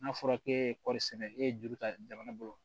N'a fɔra k'e ye kɔɔri sɛnɛ e ye juru ta jamana bolo